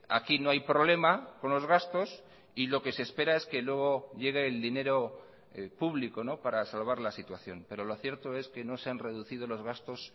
aquí no hay problema con los gastos y lo que se espera es que luego llegue el dinero público para salvar la situación pero lo cierto es que no se han reducido los gastos